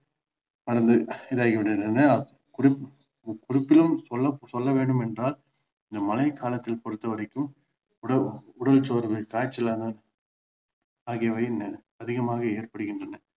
இதாகி விடுகின்றனர் குறிப்~ குறிப்பிலும் சொல் சொல்ல வேண்டும் என்றால் இந்த மழை காலத்தில் பொறுத்த வரைக்கும் உடல் உடல் சோர்வு காய்ச்சலாக ஆகியவை அTHIகமாக ஏற்படுகின்றன